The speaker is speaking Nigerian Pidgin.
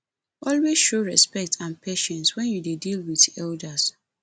always show respect and patience when you dey deal with elders